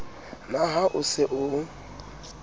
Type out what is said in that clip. na ha o se o